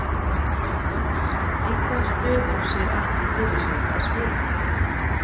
Í hvaða stöðu sér Atli fyrir sér að spila?